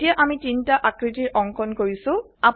এতিয়া আমি তিনটা আকৃতিৰ অঙ্কন কৰিছো